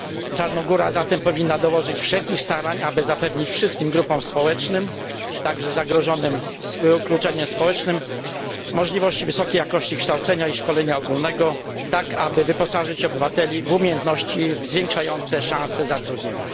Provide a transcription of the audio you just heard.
Czarnogóra powinna zatem dołożyć wszelkich starań, aby zapewnić wszystkim grupom społecznym, także tym zagrożonym wykluczeniem społecznym, możliwość wysokiej jakości kształcenia i szkolenia ogólnego, tak aby wyposażyć obywateli w umiejętności zwiększające ich szanse na zatrudnienie.